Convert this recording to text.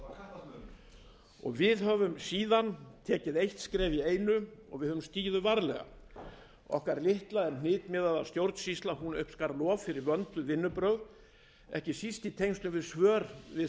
var kattasmölun við höfum síðan stigið eitt skref í einu og stigið þau varlega okkar litla en hnitmiðaða stjórnsýsla uppskar lof fyrir vönduð vinnubrögð ekki síst í tengslum við svör við